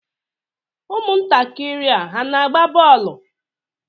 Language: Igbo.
Ụmụntakịrị a na-agba bọọlụ?